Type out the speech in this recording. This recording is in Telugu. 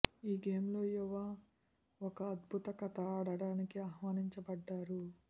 ఈ గేమ్ లో యువ ఒక అద్భుత కథ ఆడటానికి ఆహ్వానించబడ్డారు